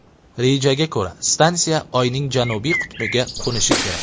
Rejaga ko‘ra, stansiya Oyning janubiy qutbiga qo‘nishi kerak.